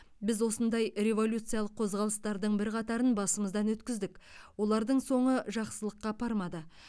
біз осындай революциялық қозғалыстардың бірқатарын басымыздан өткіздік олардың соңы жақсылыққа апармады